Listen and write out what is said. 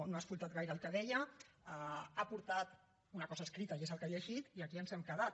no ha escoltat gaire el que deia ha portat una cosa escrita i és el que ha llegit i aquí ens hem quedat